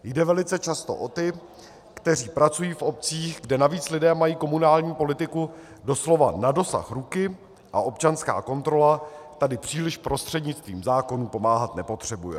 Jde velice často o ty, kteří pracují v obcích, kde navíc lidé mají komunální politiku doslova na dosah ruky a občanská kontrola tady příliš prostřednictvím zákonů pomáhat nepotřebuje.